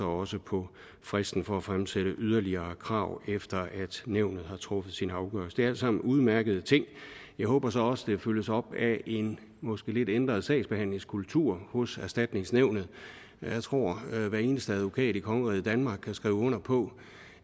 også på fristen for at fremsætte yderligere krav efter at nævnet har truffet sin afgørelse det er alt sammen udmærkede ting jeg håber så også at det følges op af en måske lidt ændret sagsbehandlingskultur hos erstatningsnævnet jeg tror at hver eneste advokat i kongeriget danmark kan skrive under på